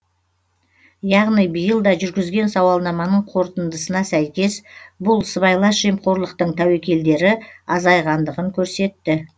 яғни биыл да жүргізген сауалнаманың қорытындысына сәйкес бұл сыбайлас жемқорлықтың тәуекелдері азайғандығын көрсетті